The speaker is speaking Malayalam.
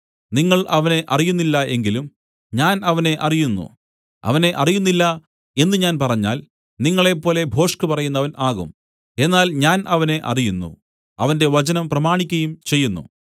നിങ്ങൾ അവനെ അറിയുന്നില്ല എങ്കിലും ഞാൻ അവനെ അറിയുന്നു അവനെ അറിയുന്നില്ല എന്നു ഞാൻ പറഞ്ഞാൽ നിങ്ങളെപ്പോലെ ഭോഷ്കുപറയുന്നവൻ ആകും എന്നാൽ ഞാൻ അവനെ അറിയുന്നു അവന്റെ വചനം പ്രമാണിക്കയും ചെയ്യുന്നു